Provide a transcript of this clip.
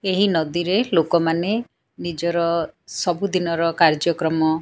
ଏହି ନଦୀ ରେ ଲୋକମାନେ ନିଜର ସବୁଦିନର କାର୍ଯ୍ୟ କର୍ମ --